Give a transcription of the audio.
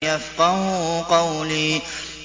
يَفْقَهُوا قَوْلِي